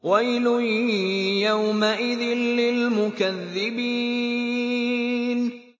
وَيْلٌ يَوْمَئِذٍ لِّلْمُكَذِّبِينَ